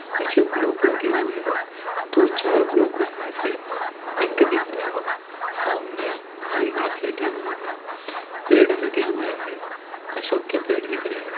नीचे ब्लॉक लगे हुए है दो-चार ब्लॉक उस में से पिंक दिख रहा है सामने हरी घांस लगी हुई है पेड़ लगे हुए हैं अशोक के पेड़ दिख रहे है।